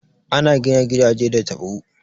Ana gina gidaje da tabo.